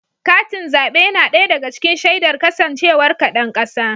Katin zaɓe yana ɗaya daga cikin shaidar kasancewar ka ɗan ƙasa.